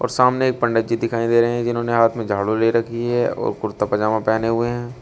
सामने पंडित जी दिखाई दे रहे हैं जिन्होंने हाथ में झाड़ू ले रखी है और कुर्ता पजामा पेहने हुए हैं।